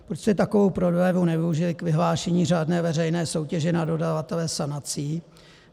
Proč jste takovou prodlevu nevyužili k vyhlášení řádné veřejné soutěže na dodavatele sanací?